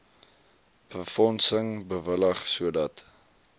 befondsing bewillig sodat